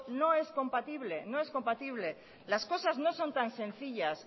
no es compatible no es compatible las cosas no son tan sencillas